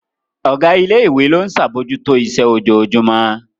Ọ̀gá ilé ìwé náà ló ń ṣe àbójútó iṣẹ́ ojoojúmọ́